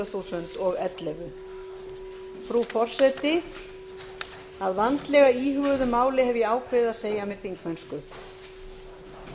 tvö þúsund og ellefu frú forseti að vandlega íhuguðu máli hef ég ákveðið að segja af mér þingmennsku